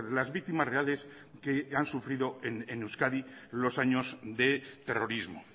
las víctimas reales que han sufrido en euskadi los años de terrorismo